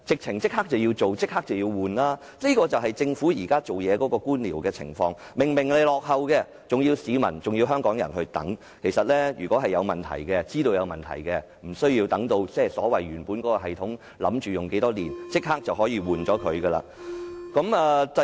應該立即更換才對，這便是政府現時處事的官僚作風，設施明顯落後，還要香港市民等，如果知道有問題，其實無需等到系統預算使用的年期才更換，應該立即更換。